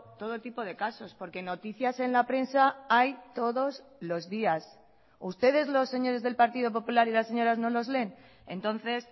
todo tipo de casos porque noticias en la prensa hay todos los días ustedes los señores del partido popular y las señoras no los leen entonces